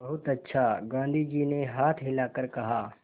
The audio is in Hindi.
बहुत अच्छा गाँधी जी ने हाथ हिलाकर कहा